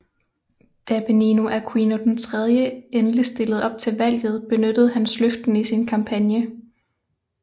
Da Benigno Aquino III endelig stillede op til valget benyttede han sløften i sin kampagne